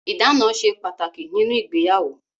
Ìdána ṣe pàtàkì nínú ìgbéyàwó.